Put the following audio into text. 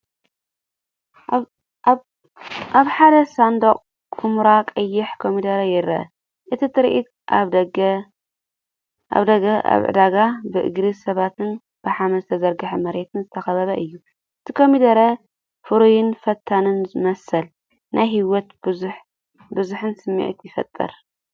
ኣብ ሓደ ሳንዱቕ ኵምራ ቀይሕ ኮሚደረ ይርአ። እቲ ትርኢት ኣብ ደገ ኣብ ዕዳጋ፡ ብእግሪ ሰባትን ብሓመድ ዝተዘርግሐ መሬትን ዝተኸበበ እዩ። እቲ ኮሚደረ ፍሩይን ፈታኒን መስል፡ ናይ ህይወትን ብዝሕን ስምዒት ይፈጥር።